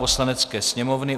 Poslanecké sněmovny